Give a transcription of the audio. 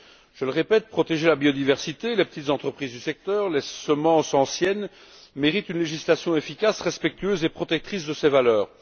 Je le répète, la protection de la biodiversité, des petites entreprises du secteur et des semences anciennes mérite une législation efficace, respectueuse et protectrice de ces valeurs.